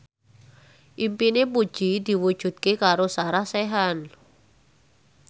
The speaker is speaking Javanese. impine Puji diwujudke karo Sarah Sechan